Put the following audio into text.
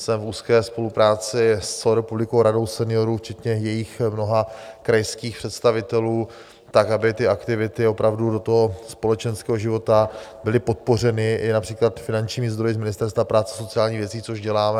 Jsem v úzké spolupráci s celorepublikovou Radou seniorů včetně jejích mnoha krajských představitelů tak, aby ty aktivity opravdu do toho společenského života byly podpořeny, i například finančními zdroji z Ministerstva práce a sociálních věcí, což děláme.